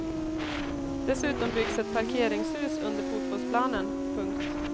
Dessutom byggs ett parkeringshus under fotbollsplanen. punkt